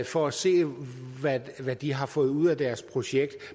for at se hvad de har fået ud af deres projekt